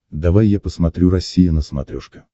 давай я посмотрю россия на смотрешке